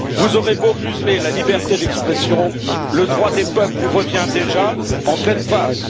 Vous aurez beau museler la liberté d'expression, le droit des peuples vous revient déjà en pleine face.